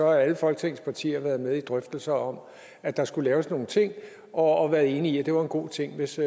alle folketingets partier har været med i drøftelser om at der skulle laves nogle ting og og været enige i at det var en god ting hvis